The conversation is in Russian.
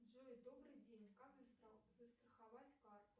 джой добрый день как застраховать карту